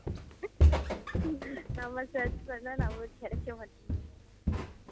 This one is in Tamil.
நம்ம search பன்னா நம்மளுக்கு கேடைக்க மாட்டுக்கு